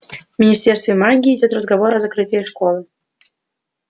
в министерстве магии идёт разговор о закрытии школы